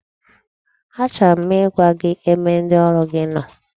Achọrọ m ịgwa gị ebe ndị ọrụ gi nọ,